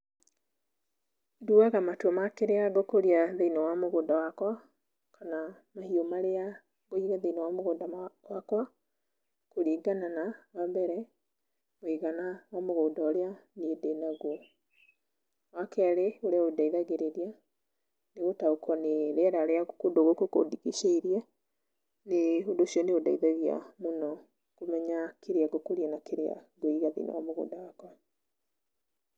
Nduaga matua ma kĩrĩa ngũkũria thĩiniĩ wa mũgũnda wakwa kana mahiũ marĩa ngũiga thĩiniĩ wa mũgũnda wakwa kũringana na wa mbere, ũigana wa mũgũnda ũrĩa niĩ ndĩnaguo. Wa kerĩ ũrĩa undeithagĩrĩria ni gũtaũkwo nĩ rĩera rĩa kũndũ gũkũ kũndigicĩirie, ũndũ ũcio nĩ ũndeithagia mũno kũmenya kĩrĩa ngũkũria na kĩrĩa ngũiga thĩiniĩ wa mũgũnda wakwa.